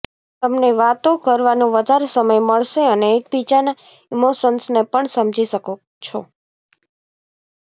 તમને વાતો કરવાનો વધારે સમય મળશે અને એકબીજાના ઇમોશન્સને પણ સમજી શકો છો